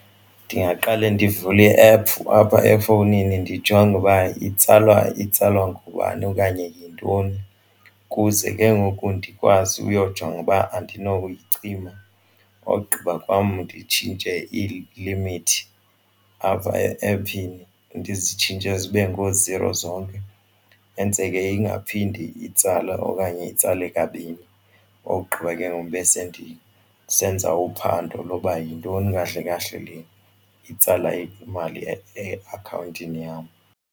Ndingaqale ndivule iephu apha efowunini ndijonge uba itsalwa ngubani okanye yintoni ukuze ke ngoku ndikwazi uyojonga uba andinoyicima. Ogqiba kwam nditshintshe ilimithi apha e-ephini, ndizitshintshe zibe ngooziro zonke yenzele ingaphindi itsale okanye itsale kabini. Ogqiba ke ngoku bese ndisenza uphando lokuba yintoni kahle kahle le itsala imali eakhawuntini yam.